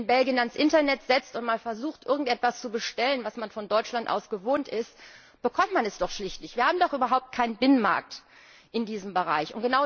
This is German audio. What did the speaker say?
Wenn man sich in Belgien ans Internet setzt und mal versucht irgendetwas zu bestellen, was man von Deutschland aus gewohnt ist, bekommt man es doch schlicht nicht. Wir haben doch überhaupt keinen Binnenmarkt in diesem Bereich.